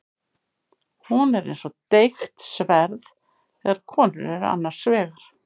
Hún er eins og deigt sverð þegar konur eru annars vegar.